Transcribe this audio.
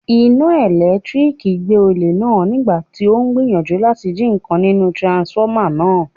Iná ẹ̀lẹ́tíríkì gbé olè náà nígbàtí ó ń gbìyànjú láti jí ǹkan nínú tiransifọ́mà náà.